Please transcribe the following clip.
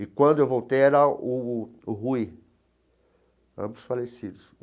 E quando eu voltei era o o Rui, ambos falecidos.